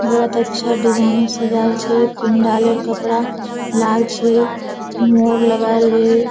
बहुत अच्छा डिजाइन से सजाल छै पंडाल कपड़ा लाल छै मोर लगाल हेय।